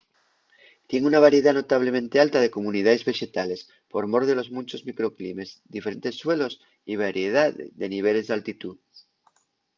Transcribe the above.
tien una variedá notablemente alta de comunidaes vexetales por mor de los munchos microclimes diferentes suelos y variedá de niveles d’altitú